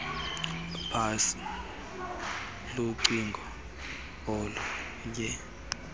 phatsha lucingo oluye